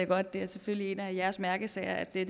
godt at det er en af jeres mærkesager at det